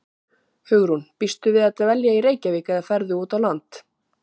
Hugrún: Býstu við að dvelja í Reykjavík, eða ferðu út á land?